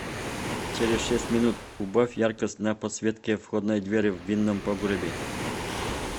через шесть минут убавь яркость на подсветке входной двери в винном погребе